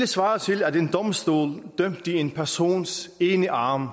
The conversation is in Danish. svare til at en domstol dømte en persons ene arm